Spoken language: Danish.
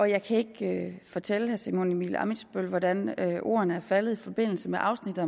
jeg kan ikke fortælle herre simon emil ammitzbøll hvordan hvordan ordene er faldet i forbindelse med afsnittet